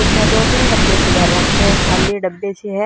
पीछह दो तीन डब्बे से धर राखे हं खाली डब्बे से हं।